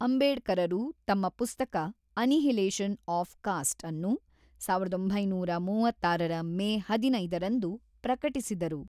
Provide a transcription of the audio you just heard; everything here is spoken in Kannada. ಅಂಬೇಡ್ಕರರು ತಮ್ಮ ಪುಸ್ತಕ ‘ಅನಿಹಿಲೇಷನ್ ಆಫ್ ಕಾಸ್ಟ್’ಅನ್ನು ಸಾವಿರದ ಒಂಬೈನೂರ ಮೂವತ್ತಾರರ ಮೇ ಹದಿನೈದರಂದು ಪ್ರಕಟಿಸಿದರು.